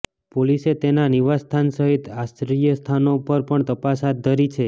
પોલીસે તેના નિવાસ્થાન સહિત આશ્રયસ્થાનો પર પણ તપાસ હાથધરી છે